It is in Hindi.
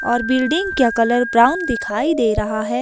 और बिल्डिंग का कलर ब्राउन दिखाई दे रहा है।